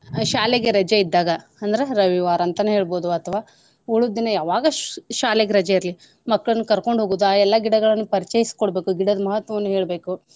ಶಾಲೆಗೆ ರಜೆ ಇದ್ದಾಗ ಅಂದ್ರ ರವಿವಾರ ಅಂತನೇ ಹೇಳ್ಬೋದು ಅಥವಾ ಉಳಿದ್ ದಿನ ಯಾವಗ್ ಶಾಲೆಗೆ ರಜೆ ಇರ್ಲಿ ಮಕ್ಕಳ್ನ ಕರ್ಕೊಂಡ್ ಹೋಗುದು ಆ ಎಲ್ಲಾ ಗಿಡಗಳನ್ನ ಪರಿಚೈಸ್ ಕೊಡ್ಬೇಕು ಗಿಡದ್ ಮಹತ್ವವನ್ ಹೇಳ್ಬೇಕು.